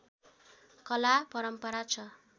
कला परम्परा छ